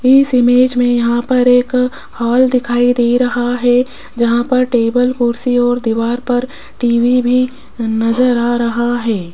इस इमेज में यहां पर एक हॉल दिखाई दे रहा है जहां पर टेबल कुर्सी और दीवार पर टी_वी भी नजर आ रहा है।